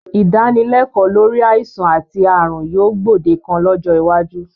Ìdánilẹ́kọ̀ọ́ lórí àìsàn àti ààrùn yóò gbòdekan lọ́jọ́ iwájú